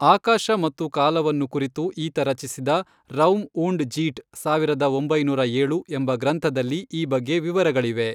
ಆಕಾಶ ಮತ್ತು ಕಾಲವನ್ನು ಕುರಿತು ಈತ ರಚಿಸಿದ ರೌಮ್ ಊಂಡ್ ಜೀಟ್ ಸಾವಿರದ ಒಂಬೈನೂರ ಏಳು, ಎಂಬ ಗ್ರಂಥದಲ್ಲಿ ಈ ಬಗ್ಗೆ ವಿವರಗಳಿವೆ.